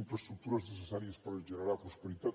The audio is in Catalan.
infraestructures necessàries per generar prosperitat